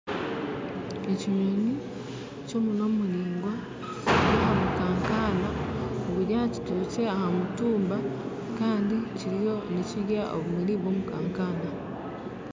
Ekinyoonyi ky'omunwa muraigwa kiri aha mukaakana oguri aha kitookye aha mutuumba kandi kiriyo nikirya obumuri by'omukaakana